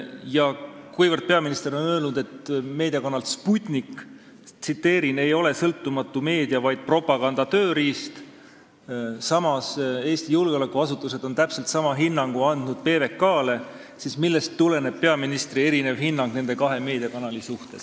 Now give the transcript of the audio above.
Ja kuivõrd peaminister on meediakanali Sputnik kohta öelnud, et see ei ole sõltumatu meedia, vaid propaganda tööriist, samal ajal kui Eesti julgeolekuasutused on täpselt sama hinnangu andnud ka PBK-le, siis millest tuleneb peaministri erinev hinnang nendele kahele meediakanalile?